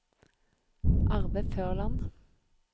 Arve Førland